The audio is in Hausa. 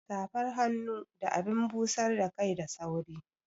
Safar hannu da abin busar da kai da sauri